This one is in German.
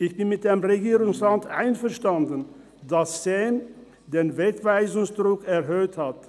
Ich bin mit dem Regierungsrat einverstanden, dass das Staatssekretariat für Migration (SEM) den Wegweisungsdruck erhöht hat.